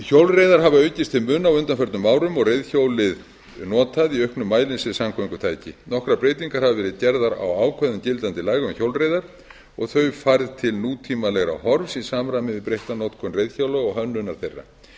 hjólreiðar hafa aukist til muna á undanförnum árum og reiðhjólið notað í auknum mæli sem samgöngutæki nokkrar breytingar hafa verið gerðar á ákvæðum gildandi laga um hjólreiðar og þau færð til nútímalegra horfs í samræmi við breytta notkun reiðhjóla og hönnunar þeirra